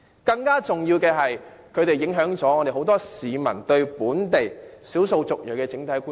更重要的是，他們影響不少市民對本地少數族裔的整體觀感。